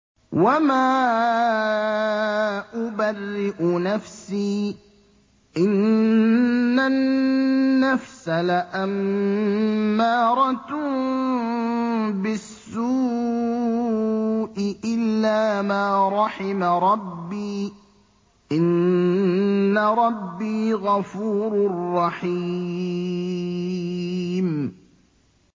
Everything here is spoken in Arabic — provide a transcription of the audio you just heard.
۞ وَمَا أُبَرِّئُ نَفْسِي ۚ إِنَّ النَّفْسَ لَأَمَّارَةٌ بِالسُّوءِ إِلَّا مَا رَحِمَ رَبِّي ۚ إِنَّ رَبِّي غَفُورٌ رَّحِيمٌ